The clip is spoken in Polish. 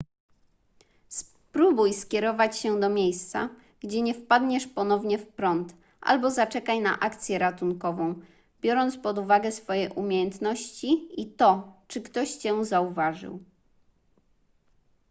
spróbuj skierować się do miejsca gdzie nie wpadniesz ponownie w prąd albo zaczekaj na akcję ratunkową biorąc pod uwagę swoje umiejętności i to czy ktoś cię zauważył